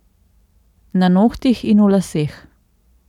Na nohtih in v laseh.